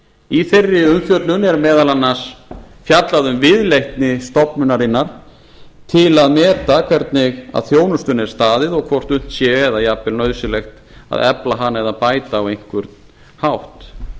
í þeirri umfjöllun er meðal annars fjallað um viðleitni stofnunarinnar til að meta hvernig að þjónustunni er staðið og hvort unnt sé eða jafnvel nauðsynlegt að efla hana eða bæta á einhvern hátt